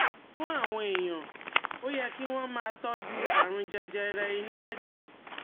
Fún àwọn èèyàn, ó yẹ kí wọ́n máa tọ́jú àrùn jẹjẹrẹ inú ẹ̀dọ̀